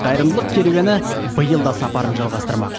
қайырымдылық керуені биыл да сапарын жалғастырмақ